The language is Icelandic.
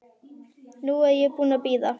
Nú er ég búin að bíða.